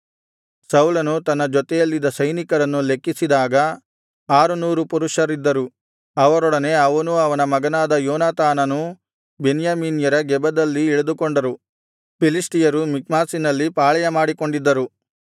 ಸೌಲನು ತನ್ನ ಜೊತೆಯಲ್ಲಿದ್ದ ಸೈನಿಕರನ್ನು ಲೆಕ್ಕಿಸಿದಾಗ ಆರು ನೂರು ಪುರುಷರಿದ್ದರು ಅವರೊಡನೆ ಅವನೂ ಅವನ ಮಗನಾದ ಯೋನಾತಾನನೂ ಬೆನ್ಯಾಮೀನ್ಯರ ಗೆಬದಲ್ಲಿ ಇಳಿದುಕೊಂಡರು ಫಿಲಿಷ್ಟಿಯರು ಮಿಕ್ಮಾಷಿನಲ್ಲಿ ಪಾಳೆಯಮಾಡಿಕೊಂಡಿದ್ದರು